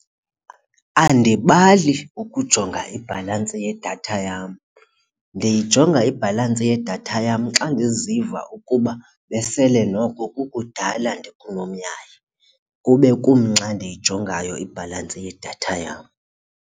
Andibali ukujonga ibhalansi yedatha yam ndiyijonga ibhalansi yedatha yam xa ndiziva ukuba besele noko kukudala ndikunomyayi kube kumnxa ndiyijongayo ibhalansi yedatha yam.